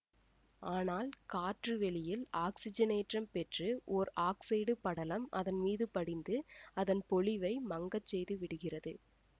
ஆனால் காற்று வெளியில் ஆக்சிஜனேற்றம் பெற்று ஓர் ஆக்சைடு படலம் அதன் மீது படிந்து அதன் பொலிவை மங்கச் செய்து விடுகிறது